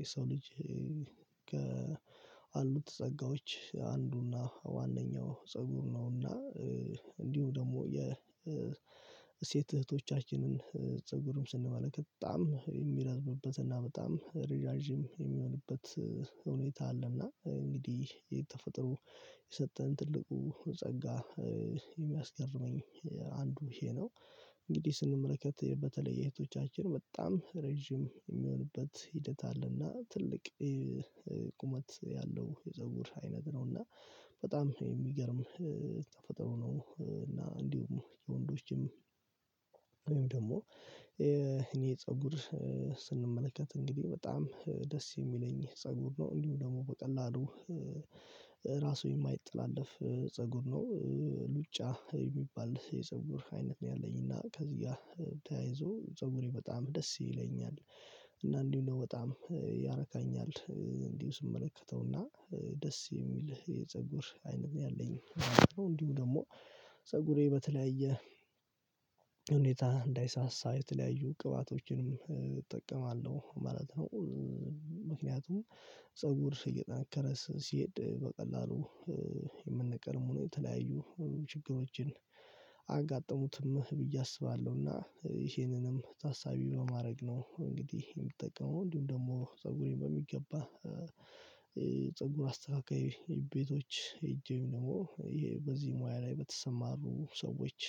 የሰው ልጅ አሉት ጸጋዎች አንዱና ዋነኛው ፀጉር ነውና። እንዲሁም ደግሞ የሴት እህቶቻችንን ፀጉርን ስንመለከት በጣም የሚረዝምበት እና በጣም ረዣዥም የሚሆንበት ሁኔታ አለ እና እንግዲህ ተፈጥሮ የሰጠን ትልቁ ጸጋ የሚያስገርመኝ አንዱ ይሄ ነው እንግዲህ ስንመለከት በተለየ እህቶቻችን በጣም ረጅም የሚሆንበት ሂደት አለና ትልቅ የቁመት ያለው የፀጉር አይነት ነው እና በጣም የሚገርም ተፈጥሮ ነው። እና እንዲሁም የወንዶችም ወይም ደግሞ የእኔን ፀጉር ስንመለከት እንግዲህ በጣም ደስ የሚለኝ ፀጉር ነው እንዲሁ ደግሞ በቀላሉ ራሱ የማይጠላለፍ ፀጉር ነው ሉጫ የሚባል የፀጉር አይነት ነው ያለኝና ከዚህ ጋር ተያይዞ ፀጉሬ በጣም ደስ ይለኛል። አንዳንዴ ደግሞ በጣም ያረካኛል እንዲሁ ስመለከተው እና ደስ የሚል የፀጉር አይነት ነው ያለኝ እንዲሁ ደግሞ ፀጉሬ በተለያየ ሁኔታ እንዳይሳሳ የተለያዩ ቅባቶችንም እጠቀማለሁ ማለት ነው። ምክንያቱም ፀጉር እየጠነከረ ሲሄድ በቀላሉ የሚነቀል አይሆንም የተለያዩ ችግሮችን አያጋጥሙትም ብዬ አስባለሁ እና ይሄንንም ታሳቢ በማድረግ ነው እንግዲህ የምትጠቀመው እንዲሁም ደግሞ ፀጉሬን በሚገባ ፀጉር አስተካካይ ቤቶች ሄጄም ደግሞ በዚህ ሙያ ላይ በተሰማሩ ሰዎች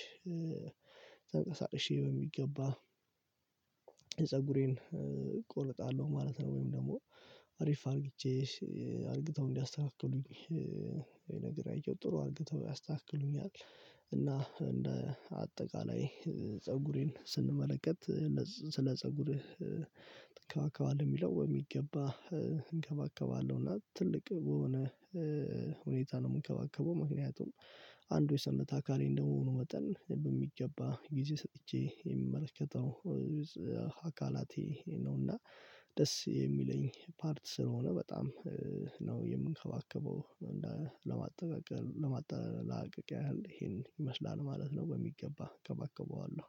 ተንቀሳቅሼ በሚገባ ፀጉሬን እቆረጣለሁ ማለት ነው። ወይም ደግሞ አሪፍ አድርጌ አድርገው እንዲያስተካክሉኝ ወይ ነግሬያቸው ጥሩ አድርገው ያስተካክሉኛል። እና እንደ አጠቃላይ ፀጉሬን ስንመለከት ስለ ፀጉርህ ትንከባከባለህ የሚለው የሚገባ እንከባከባለሁ እና ትልቅ በሆነ ሁኔታ ነው የምንከባከበው ምክንያቱም አንዱ የሰውነህ አካሌ እንደመሆኑ መጠን በሚገባ ጊዜ ሰጥቼ የምመለከተው አካላቴ ነውና ደስ የሚለኝ ፓርት ስለሆነ በጣም ነው የምንከባከበው እንደ ለማጠቃቀል ለማጠቃለያ ያህል ይሄን ይመስላል ማለት ነው። በሚገባ እንከባከበዋለሁ